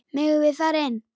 Megum við fara inn?